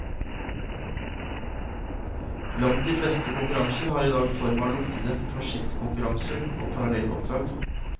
Langt de fleste konkurranser har i dag form av lukkede prosjektkonkurranser og parallelloppdrag.